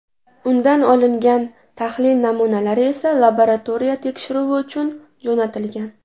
Undan olingan tahlil namunalari esa laboratoriya tekshiruvi uchun jo‘natilgan.